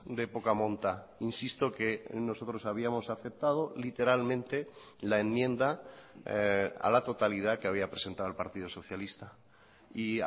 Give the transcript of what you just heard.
de poca monta insisto que nosotros habíamos aceptado literalmente la enmienda a la totalidad que había presentado el partido socialista y